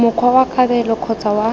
mokgwa wa kabelo kgotsa wa